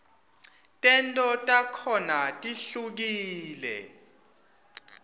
tento takhona tihlukule